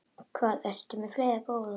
Hvað ertu með fleira, góða?